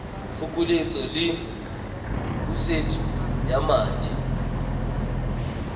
phokoletso le pusetso ya madi